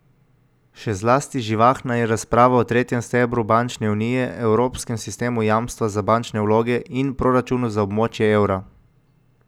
Še zlasti živahna je razprava o tretjem stebru bančne unije, evropskem sistemu jamstva za bančne vloge, in proračunu za območje evra.